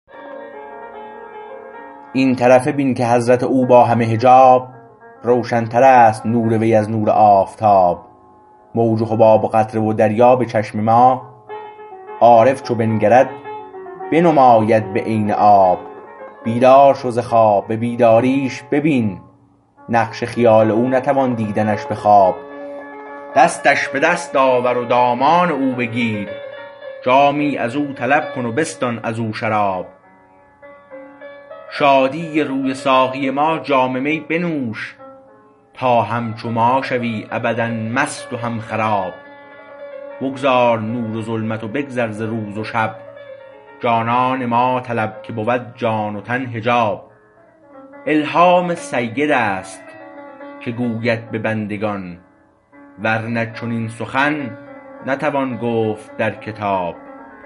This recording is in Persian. این طرفه بین که حضرت او با همه حجاب روشن تر است نور وی از نور آفتاب موج و حباب و قطره و دریا به چشم ما عارف چو بنگرد بنماید به عین آب بیدار شو ز خواب به بیداریش ببین نقش خیال او نتوان دیدنش به خواب دستش به دست آور و دامان او بگیر جامی از او طلب کن و بستان ازو شراب شادی روی ساقی ما جام می بنوش تا همچو ما شوی ابدالمست و هم خراب بگذار نور و ظلمت و بگذر ز روز و شب جانان ما طلب که بود جان و تن حجاب الهام سید است که گوید به بندگان ورنه چنین سخن نتوان گفت در کتاب